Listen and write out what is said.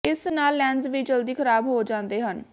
ਇਸ ਨਾਲ ਲੈਂਸ ਵੀ ਜਲਦੀ ਖਰਾਬ ਹੋ ਜਾਂਦੇ ਹਨ